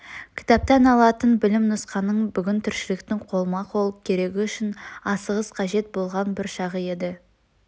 кітаптан алатын білім нұсқаның бүгін тіршіліктің қолма-қол керегі үшін асығыс қажет болған бір шағы еді